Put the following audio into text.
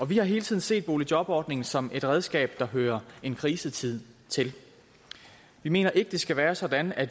vi har hele tiden set boligjobordningen som et redskab der hører en krisetid til vi mener ikke det skal være sådan at